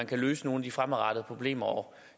kan løse nogle af de fremadrettede problemer